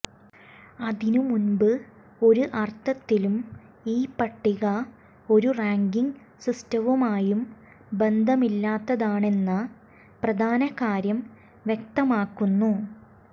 അതിനുമുമ്പ് ഒരു അര്ത്ഥത്തിലും ഈ പട്ടിക ഒരു റാങ്കിങ് സിസ്റ്റവുമായും ബന്ധമില്ലാത്തതാണെന്ന പ്രധാന കാര്യം വ്യക്തമാക്കുന്നു